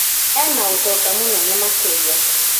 Ena ũtonga mũnene makĩria